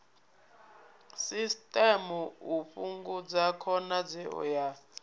system u fhungudza khonadzeo ya